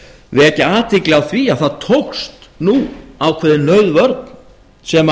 vekja athygli á því að það tókst nú ákveðin nauðvörn sem